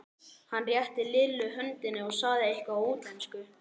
Hann rétti Lillu höndina og sagði eitthvað á útlensku.